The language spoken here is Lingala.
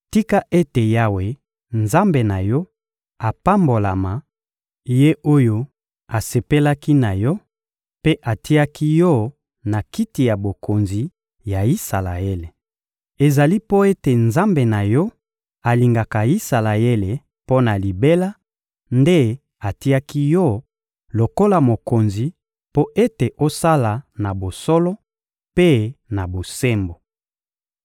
Tika ete Yawe, Nzambe na yo, apambolama; Ye oyo asepelaki na yo mpe atiaki yo na kiti ya bokonzi ya Isalaele! Ezali mpo ete Nzambe na yo alingaka Isalaele mpo na libela nde atiaki yo lokola mokonzi mpo ete osala na bosolo mpe na bosembo.»